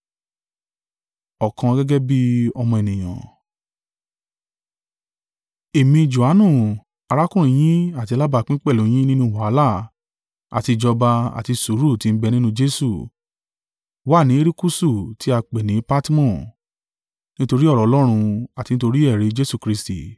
Èmi, Johanu, arákùnrin yín àti alábápín pẹ̀lú yín nínú wàhálà àti ìjọba àti sùúrù tí ń bẹ nínú Jesu, wà ní erékúṣù tí a ń pè ní Patmo, nítorí ọ̀rọ̀ Ọlọ́run, àti nítorí ẹ̀rí Jesu Kristi.